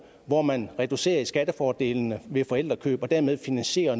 hvor man reducerer skattefordelene ved forældrekøb og dermed finansierer